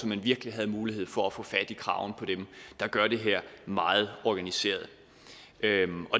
man virkelig havde mulighed for at få fat i kraven på dem der gør det her meget organiseret